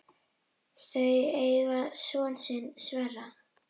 Þau eiga soninn Sverri.